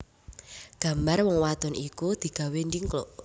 Gambar wong wadon iku digawé ndhingkluk